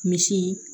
Misi